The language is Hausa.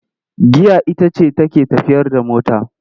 Giya ita ce take tafiyar da mota,